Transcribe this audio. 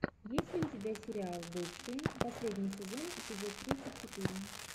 есть ли у тебя сериал бывшие последний сезон эпизод тридцать четыре